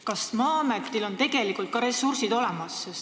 Kas Maa-ametil on tegelikult ka ressursid olemas?